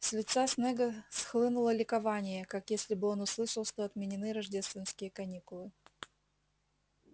с лица снегга схлынуло ликование как если бы он услышал что отменены рождественские каникулы